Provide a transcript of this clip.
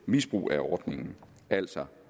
misbrug af ordningen altså